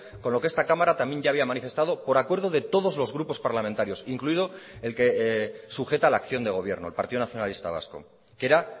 con lo que esta cámara también ya había manifestado por acuerdo de todos los grupos parlamentarios incluido el que sujeta la acción de gobierno el partido nacionalista vasco que era